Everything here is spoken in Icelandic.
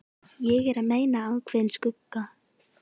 Ég er að meina ákveðinn skugga.